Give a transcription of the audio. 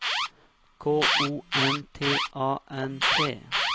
K O N T A N T